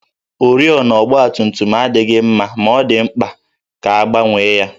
Oriọna ọgbatumtum adịghị mma ma ọ dị mkpa ka a gbanwee ya